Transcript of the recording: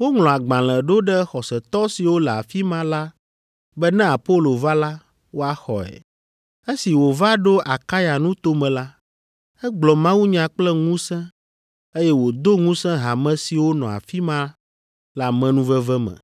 Woŋlɔ agbalẽ ɖo ɖe xɔsetɔ siwo le afi ma la be ne Apolo va la, woaxɔe. Esi wòva ɖo Akaya nuto me la, egblɔ mawunya kple ŋusẽ eye wòdo ŋusẽ hame siwo nɔ afi ma le amenuveve me.